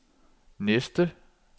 næste